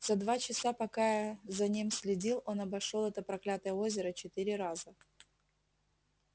за два часа пока я за ним следил он обошёл это проклятое озеро четыре раза